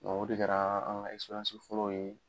o de kɛra a an ŋa fɔlɔ ye